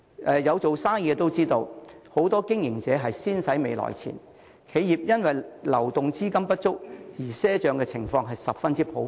有做生意的都知道，很多經營者都是"先使未來錢"，企業因流動資金不足而賒帳的情況十分普遍。